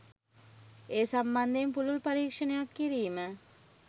ඒ සම්බන්ධයෙන් පුළුල් පරීක්‍ෂණයක් කිරීම